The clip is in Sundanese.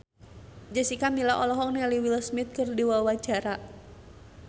Jessica Milla olohok ningali Will Smith keur diwawancara